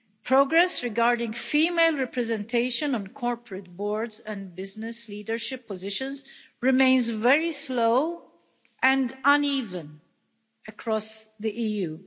Progress regarding female representation on corporate boards and business leadership positions remains very slow and uneven across the EU.